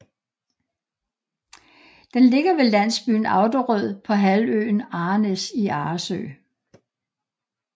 Den ligger ved landsbyen Auderød på halvøen Arrenæs i Arresø